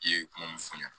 I ye kuma mun f'i ye